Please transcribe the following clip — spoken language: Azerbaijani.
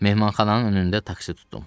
Mehmanxananın önündə taksi tutdum.